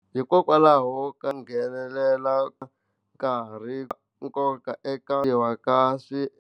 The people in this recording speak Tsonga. Hikokwalaho ko nghenelela nkarhi, nkoka eka ka .